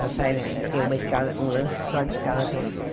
Já sai, tem uma escada um lance só de escada até o sexto.